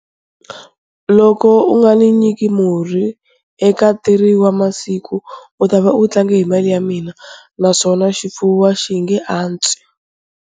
Loko u nga ni nyika murhi eka 3 wa masiku, u ta va u tlange hi mali ya mina naswona xifuwo a xi nge antswi.